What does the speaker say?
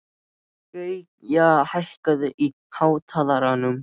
Gauja, hækkaðu í hátalaranum.